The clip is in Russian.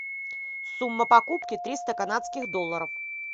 сумма покупки триста канадских долларов